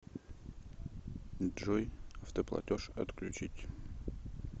джой автоплатеж отключить